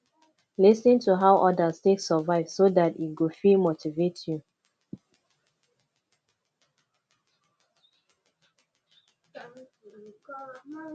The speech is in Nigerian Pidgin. lis ten to how others take survive so that e go fit motivate you